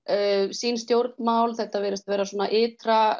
sín stjórnmál þetta virðist vera